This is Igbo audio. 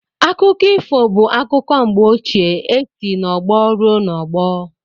Akụkọ ifo bụ akụkọ mgbe ochie e si n’ọgbọ ruo n'ọgbọ